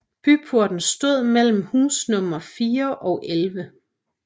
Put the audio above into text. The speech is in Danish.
Byporten stod mellem husnumrene 4 og 11